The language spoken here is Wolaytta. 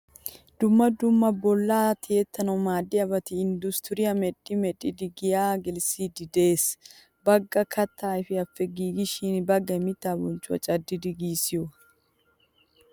Dumma dumma bolla tiyettanawu maaddiyaabati industture medhdhi medhdhidi giya gelissidi de'ees. Baggay katta ayfiyappe giigishin baggay miitta bonccuwaa caddidid gigisiyoga.